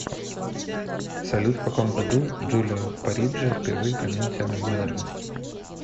салют в каком году джулио париджи впервые применил термин менеджмент